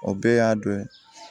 O bɛɛ y'a dɔ ye